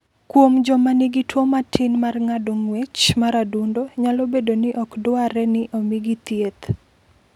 Kuom joma nigi tuwo matin mar ng’ado ng’wech mar adundo, nyalo bedo ni ok dwarre ni omigi thieth.